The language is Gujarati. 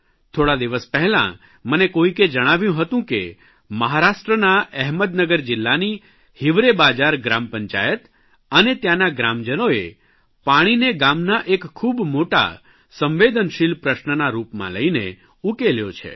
થોડા દિવસ પહેલાં મને કોઇકે જણાવ્યું હતું કે મહારાષ્ટ્રના એહમદનગર જિલ્લાની હિવરે બાજાર ગ્રામપંચાયત અને ત્યાંના ગ્રામજનોએ પાણીને ગામના એક ખૂબ મોટા સંવેદનશીલ પ્રશ્નના રૂપમાં લઇને ઉકેલ્યો છે